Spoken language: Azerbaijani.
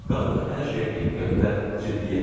Qarı da hər şeyə diqqətlə, ciddiyyətlə baxdı.